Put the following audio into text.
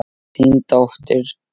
Þín dóttir, Alda.